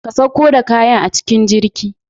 ka sauko da kayan a cikin jirgi.